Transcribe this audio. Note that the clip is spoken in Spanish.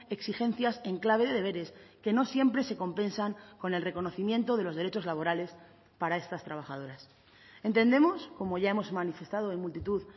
exigencias en clave de deberes que no siempre se compensan con el reconocimiento de los derechos laborales para estas trabajadoras entendemos como ya hemos manifestado en multitud